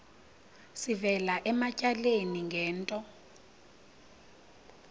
sivela ematyaleni ngento